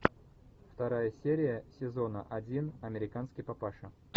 вторая серия сезона один американский папаша